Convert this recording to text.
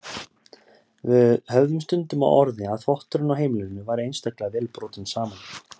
Við höfðum stundum á orði að þvotturinn á heimilinu væri einstaklega vel brotinn saman.